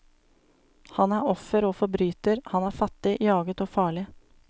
Han er offer og forbryter, han er fattig, jaget og farlig.